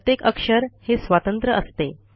प्रत्येक अक्षर हे स्वतंत्र असते